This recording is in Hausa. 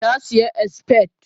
ta siya expired